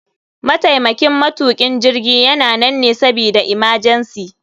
Mataimakin matukin jirgi yana nan ne sabida imajensi.